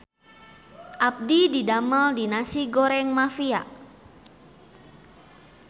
Abdi didamel di Nasi Goreng Mafia